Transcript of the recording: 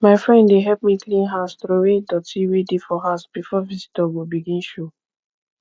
my friend dey help me clean house troway doty wey dey for house before visitor go begin show